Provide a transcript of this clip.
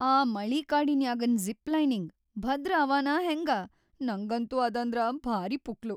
ಆ ಮಳಿಕಾಡಿನ್ಯಾಗನ್‌ ಝಿಪ್‌-ಲೈನಿಂಗ್‌ ಭದ್ರ್ ಅವನಾ ಹೆಂಗ? ನಂಗಂತೂ ಅದಂದ್ರ ಭಾರೀ ಪುಕ್ಲು.